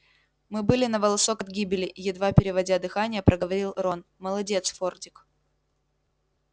мы были на волосок от гибели едва переводя дыхание проговорил рон молодец фордик